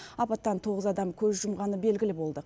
апаттан тоғыз адам көз жұмғаны белгілі болды